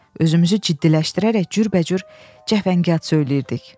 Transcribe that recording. Özümüzü ciddiləşdirərək cürbəcür cəfəngiyat söyləyirdik.